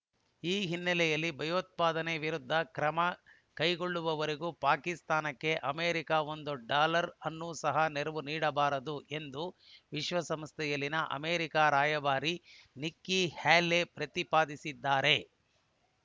ಈ ಹಿನ್ನೆಲೆಯಲ್ಲಿ ಭಯೋತ್ಪಾದನೆ ವಿರುದ್ಧ ಕ್ರಮ ಕೈಗೊಳ್ಳುವವರೆಗೂ ಪಾಕಿಸ್ತಾನಕ್ಕೆ ಅಮೆರಿಕ ಒಂದು ಡಾಲರ್‌ ಅನ್ನು ಸಹ ನೆರವು ನೀಡಬಾರದು ಎಂದು ವಿಶ್ವಸಂಸ್ಥೆಯಲ್ಲಿನ ಅಮೆರಿಕ ರಾಯಭಾರಿ ನಿಕ್ಕಿ ಹ್ಯಾಲೆ ಪ್ರತಿಪಾದಿಸಿದ್ದಾರೆ